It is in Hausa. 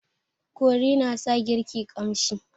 Kori na sa girki ƙamshi.